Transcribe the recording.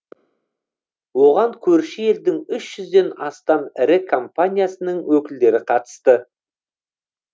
оған көрші елдің үш жүзден астам ірі компаниясының өкілдері қатысты